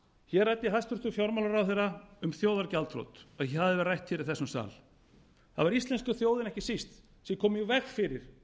hér ræddi hæstvirtur fjármálaráðherra um þjóðargjaldþrot það hafi verið rætt hér í þessum sal það var íslenska þjóðin ekki síst sem kom í veg fyrir